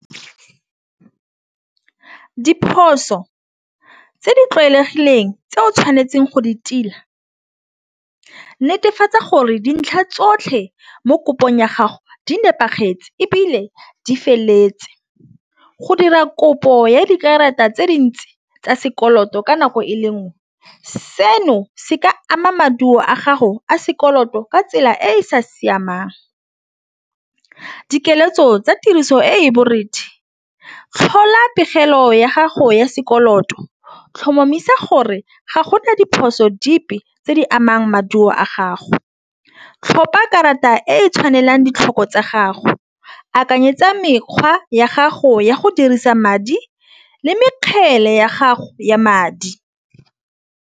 Diphoso tse di tlwaelegileng tse o tshwanetseng go di tila netefatsa gore dintlha tsotlhe mo kopong ya gago di nepagetseng, ebile di feleletswe. Go dira kopo ya dikarata tse dintsi tsa sekoloto ka nako e le nngwe seno se ka ama maduo a gago a sekoloto ka tsela e e sa siamang. Dikeletso tsa tiriso e e borethe tlhola pegelo ya gago ya sekoloto tlhomamisa gore ga gona diphoso dipe tse di amang maduo a gago. Tlhopa karata di e tshwanelang ditlhoko tsa gago akanyetsa mekgwa ya gago ya go dirisa madi le mekgele ya gago ya madi.